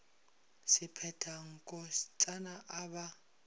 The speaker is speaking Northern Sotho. se phetha nkotsana a ba